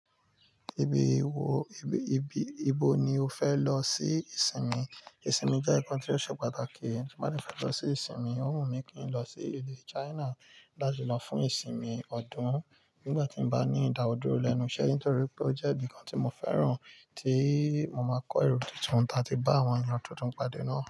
Ibi wo ibi ibo ni o fẹ lọ sí ìsinmi? Ìsinmi jẹ́ nǹkan tó ṣe pàtàkì, ti bá de fẹ lọ si ìsinmi ó wù mí kí n lọ sí ilu China láti lọ fún ìsinmi ọdún. Nígbà tí mo bá ní ìdádúró lẹ́nu iṣẹ́ nítorí pé ó jẹ́ ibi kan tí mo fẹ́ràn tí mo máa kọ́ èrò tuntun ta ti bá àwọn ènìyàn tuntun pàdé náà.